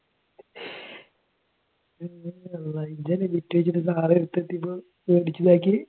നീയല്ലേ ബിറ്റ് വെച്ചിട്ട് സാർ അടുത്ത് എത്തിയപ്പോൾ പേടിച്ച് ഇതാക്കിയേ?